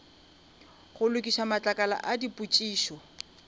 go lokiša matlakala a dipotšišo